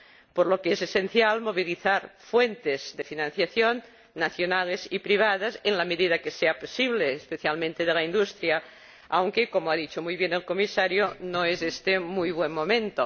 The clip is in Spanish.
Por ello es esencial movilizar fuentes de financiación, nacionales y privadas, en la medida de que sea posible, especialmente de la industria, aunque, como ha dicho muy bien el Comisario, no es éste muy buen momento.